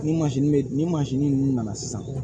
Ni bɛ ni ninnu nana sisan